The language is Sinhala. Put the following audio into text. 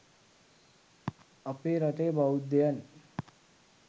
අපේ රටේ බෞද්ධයන්